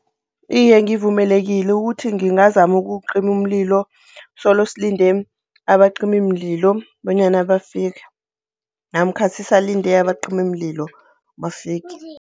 Iye, ngivumelekile ukuthi ngingazama ukuwucima umlilo solosilinde abacimimlilo bonyana bafike, namkha sisalinde abacimimlilo bafike.